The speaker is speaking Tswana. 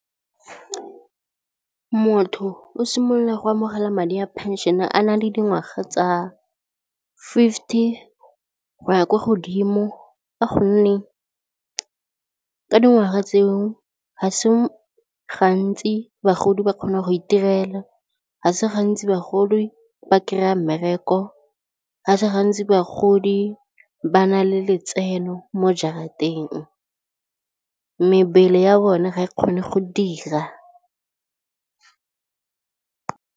Motho o simolola go amogela madi a pension-e a na le dingwaga tsa fifty go ya kwa godimo ka gonne ka dingwaga tseo ga se gantsi bagodi ba kgona go itirela, ga se gantsi bagodi ba kry-a mmereko, ga se gantsi bagodi ba na le letseno mo jarateng, mebele ya bone ga e kgone go dira.